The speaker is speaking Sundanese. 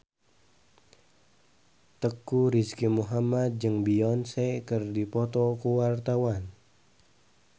Teuku Rizky Muhammad jeung Beyonce keur dipoto ku wartawan